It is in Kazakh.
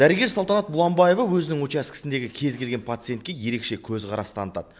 дәрігер салтанат бұланбаева өзінің учаскесіндегі кез келген пациентке ерекше көзқарас танытады